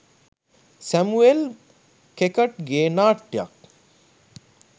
Samuel ඛෙකට්ගේ නාට්‍යයක්